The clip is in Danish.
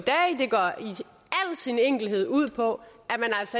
al sin enkelhed ud på